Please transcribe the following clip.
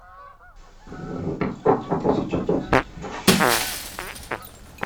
две тысячи десять